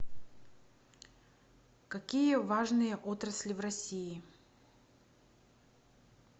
какие важные отрасли в россии